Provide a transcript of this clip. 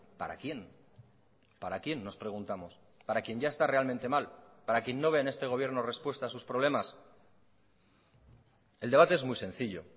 para quién para quién nos preguntamos para quién ya está realmente mal para quién no ve en este gobierno respuesta a sus problemas el debate es muy sencillo